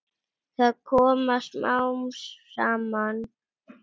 Það kom smám saman.